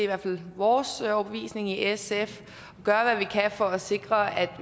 hvert fald vores overbevisning i sf for at sikre at